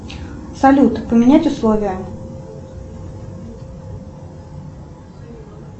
салют поменять условия